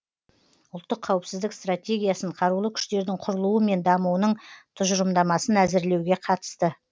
ұлттық қауіпсіздік стратегиясын қарулы күштердің құрылуы мен дамуының тұжырымдамасын әзірлеуге қатысты